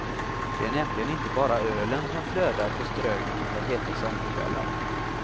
Det är nämligen inte bara ölen som flödar på ströget under heta sommarkvällar.